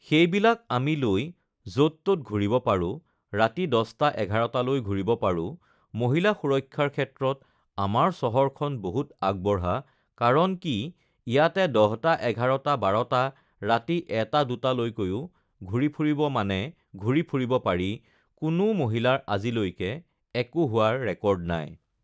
সেইবিলাক আমি লৈ য'ত ত'ত ঘূৰিব পাৰোঁ ৰাতি দচটা এঘাৰটালৈ ঘূৰিব পাৰোঁ মহিলা সুৰক্ষাৰ ক্ষেত্ৰত আমাৰ চহৰখন বহুত আগবঢ়া কাৰণ কি ইয়াতে দহটা এঘাৰটা বাৰটা ৰাতি এটা দুটালৈকৈও ঘূৰি ফুৰিব মানে ঘূৰি ফুৰিব পাৰি কোনো মহিলাৰ আজিলৈকে একো হোৱাৰ ৰেকৰ্ড নাই